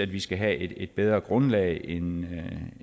vi skal have et bedre grundlag end